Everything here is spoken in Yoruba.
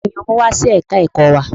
Taani ó mú wá sí ẹ̀ka ẹ̀kọ́ wa?